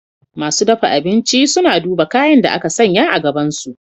Masu dafa abinci suna duba kayan da aka sanya a gabansu.